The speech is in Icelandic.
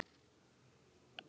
Finnst þér hann líkur mér?